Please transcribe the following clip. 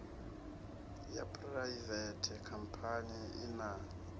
ya phuraivete khampani i na